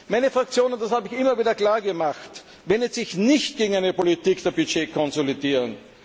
Meine Fraktion und das habe ich immer wieder klar gemacht wendet sich nicht gegen eine Politik der Budgetkonsolidierung.